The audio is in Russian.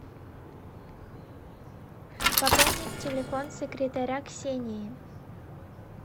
пополнить телефон секретаря ксении